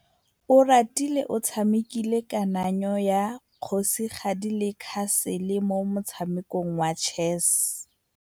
Oratile o tshamekile kananyô ya kgosigadi le khasêlê mo motshamekong wa chess.